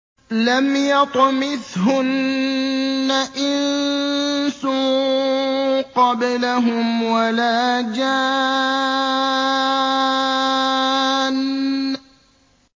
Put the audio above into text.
لَمْ يَطْمِثْهُنَّ إِنسٌ قَبْلَهُمْ وَلَا جَانٌّ